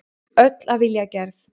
Öll af vilja gerð.